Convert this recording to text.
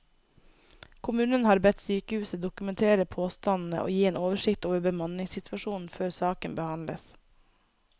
Kommunen har bedt sykehuset dokumentere påstandene og gi en oversikt over bemanningssituasjonen før saken behandles.